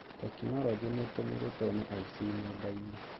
Tekinoronjĩ nĩtũmĩrĩtwo nĩ aici nendainĩ